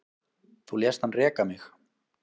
Þú lést hann reka mig